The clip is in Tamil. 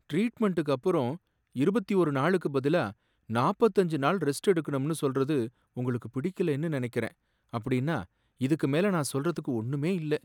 ட்ரீட்மென்ட்டுக்கு அப்புறம் இருபத்தி ஓர் நாளுக்கு பதிலா நாப்பத்தஞ்சு நாள் ரெஸ்ட் எடுக்கணும்னு சொல்றது உங்களுக்கு பிடிக்கலைன்னு நினைக்குறேன். அப்படின்னா, இதுக்கு மேல நான் சொல்றதுக்கு ஒண்ணுமே இல்லை.